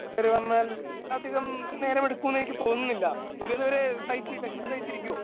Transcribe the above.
കേറി വന്നാൽ അധികം നേരം എടുക്കുമെന്ന് എനിക്ക് തോന്നുന്നില്ല. അഭി അതുവരെ സഹിച്ച് വിശപ്പ് സഹിച്ചിരിക്കുവോ?